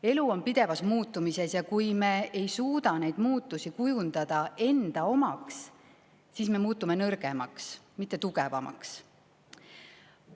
Elu on pidevas muutumises ja kui me ei suuda neid muutusi kujundada enda omaks, siis me muutume nõrgemaks, mitte tugevamaks.